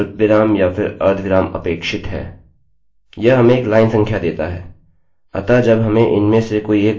यह हमें एक लाइन संख्या देता है अतः जब हमें इनमें से कोई एक parse error मिलती है यह हमेशा ही एक लाइन संख्या देगा